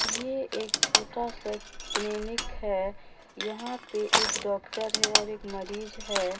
ये एक छोटा सा क्लिनिक है यहां पे एक बार डाक्टर है और एक मरीज है।